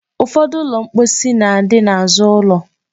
Ụfọdụ ụlọ mposi na-adị n'azụ ụlọ.